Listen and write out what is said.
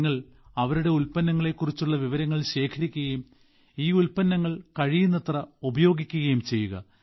നിങ്ങൾ അവരുടെ ഉൽപ്പന്നങ്ങളെക്കുറിച്ചുള്ള വിവരങ്ങൾ ശേഖരിക്കുകയും ഈ ഉൽപ്പന്നങ്ങൾ കഴിയുന്നത്ര ഉപയോഗിക്കുകയും ചെയ്യുക